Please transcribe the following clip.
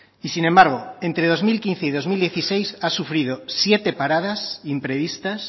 y sin embargo entre dos mil quince y dos mil dieciséis ha sufrido siete paradas imprevistas